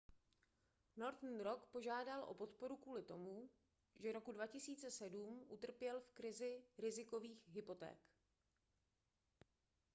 northern rock požádal o podporu kvůli tomu že roku 2007 utrpěl v krizi rizikových hypoték